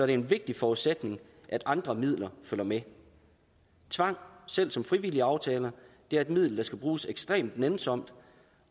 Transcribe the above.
det en vigtig forudsætning at andre midler følger med tvang selv som frivillige aftaler er et middel der skal bruges ekstremt nænsomt